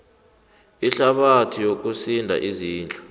ihlabathi yokusinda izindlu